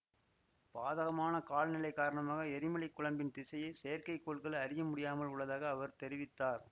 பாதகமான கால்நிலை காரணமாக எரிமலை குழம்பின் திசையை செயற்கை கோள்கள் அறிய முடியாமல் உள்ளதாக அவர் தெரிவித்தார்